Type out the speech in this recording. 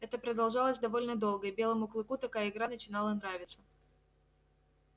это продолжалось довольно долго и белому клыку такая игра начинала нравиться